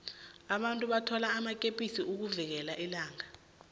abantu bathwala amakepisi ukuvikela ilanga